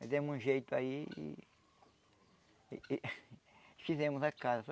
Fizemos um jeito aí e... e fizemos a casa.